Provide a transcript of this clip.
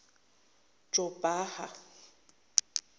jobhaha